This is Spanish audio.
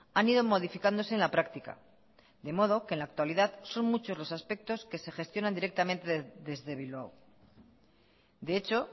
han ido modificándose en la práctica de modo que en la actualidad son muchos los aspectos que se gestionan directamente desde bilbao de hecho